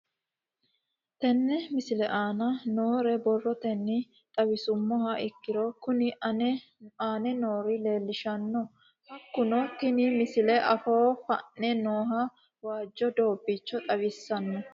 Tenne misile aana noore borrotenni xawisummoha ikirro kunni aane noore leelishano. Hakunno tinni misile afoo fa'ne nooha waajo doobicho xawissano.